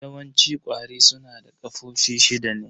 Yawanci ƙwari su na da ƙafofi shida ne.